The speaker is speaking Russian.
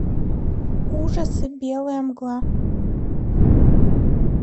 ужасы белая мгла